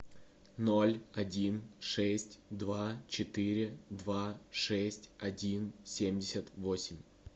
ноль один шесть два четыре два шесть один семьдесят восемь